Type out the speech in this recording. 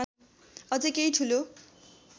अझ केही ठूलो